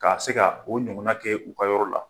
Ka a bɛ se ka o ɲɔgɔn na kɛ u ka yɔrɔ la.